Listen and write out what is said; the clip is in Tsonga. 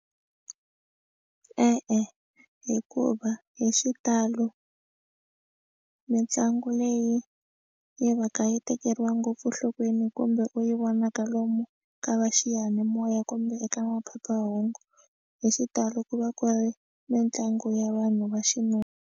E-e hikuva hi xitalo mitlangu leyi yi va ka yi tekeriwa ngopfu enhlokweni kumbe u yi vonaka lomu ka va xiyanimoya kumbe eka maphephahungu hi xitalo ku va ku ri mitlangu ya vanhu va xinuna.